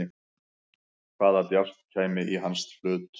Hvaða djásn kæmi í hans hlut?